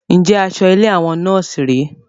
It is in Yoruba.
Njẹ asọ ilé àwọn nọ́ọ̀sì rẹ?